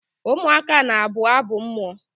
ụmụaka na-abụ abụ mmụọ